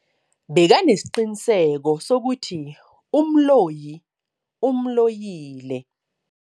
Bekanesiqiniseko sokuthi umloyi umloyile.